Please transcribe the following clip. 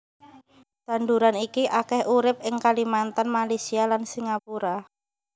Tanduran iki akèh urip ing Kalimantan Malaysia lan Singapura